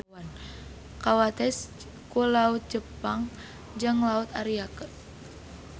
Kawates ku Laut Jepang jeung Laut Ariake.